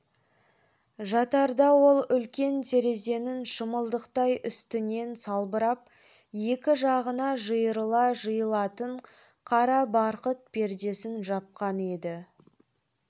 жатарда ол үлкен терезенің шымылдықтай үстінен салбырап екі жағына жиырыла жиылатын қара барқыт пердесін жапқан еді